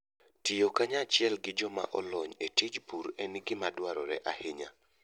Tiyo kanyachiel gi joma olony e tij pur en gima dwarore ahinya.